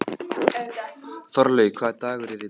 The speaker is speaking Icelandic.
Þorlaug, hvaða dagur er í dag?